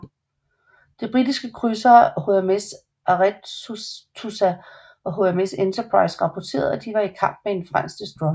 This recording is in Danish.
De britiske krydsere HMS Arethusa og HMS Enterprise rapporterede at de var i kamp med en fransk destroyer